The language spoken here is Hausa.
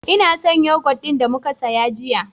Ina son yoghurt ɗin da muka siya jiya.